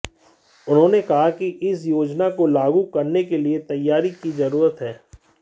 उन्होंने कहा कि इस योजना को लागू करने के लिए तैयारी की जरूरत है